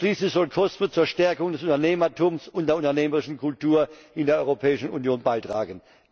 Schließlich soll COSME zur Stärkung des Unternehmertums und der unternehmerischen Kultur in der Europäischen Union beitragen.